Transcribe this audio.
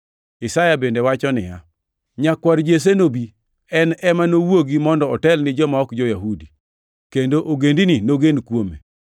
Isaya bende wacho niya, “Nyakwar Jesse nobi, en ema nowuogi mondo otel ni joma ok jo-Yahudi, kendo ogendini nogen kuome.” + 15:12 \+xt Isa 11:10\+xt*